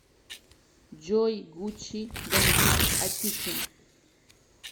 джой гучи бандит атикин